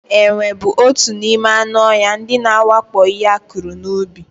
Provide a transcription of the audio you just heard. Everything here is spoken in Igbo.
Enwe bụ otu n'ime anụ ọhịa ndị na-awakpo ihe akụrụ n'ubi.